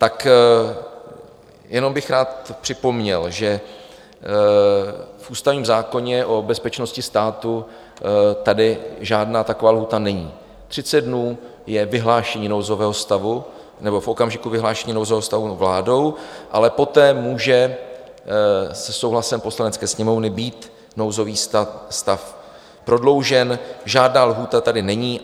Tak jenom bych rád připomněl, že v ústavním zákoně o bezpečnosti státu tady žádná taková lhůta není, 30 dnů je vyhlášení nouzového stavu, nebo v okamžiku vyhlášení nouzového stavu vládou, ale poté může se souhlasem Poslanecké sněmovny být nouzový stav prodloužen, žádná lhůta tady není.